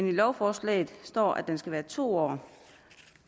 i lovforslaget står at den skal være på to år